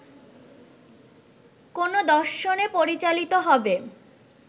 কোনো দর্শনে পরিচালিত হবে